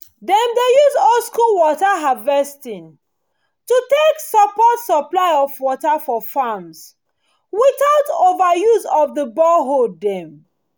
dem dey use old school water harvesting to take support supply of water for farms without overuse of the boreholes dem